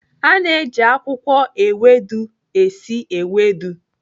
A na-eji akwụkwọ ewedu esi ewedu.